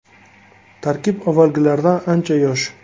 Tarkib avvalgilaridan ancha yosh.